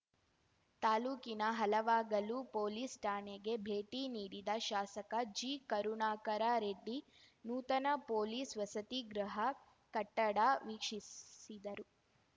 ತಾಲೂಕಿನ ಹಲವಾಗಲು ಪೊಲೀಸ್‌ ಠಾಣೆಗೆ ಭೇಟಿ ನೀಡಿದ ಶಾಸಕ ಜಿಕರುಣಾಕರ ರೆಡ್ಡಿ ನೂತನ ಪೊಲೀಸ್‌ ವಸತಿಗೃಹ ಕಟ್ಟಡ ವೀಕ್ಷಿಸಿದರು